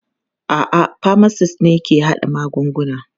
A'a, pharmacists ne ke haɗa magungunana.